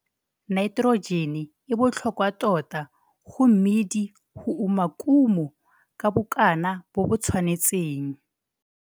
Naiterojene e botlhokwa tota go mmidi go uma kumo ka bokana bo bo tshwanetseng.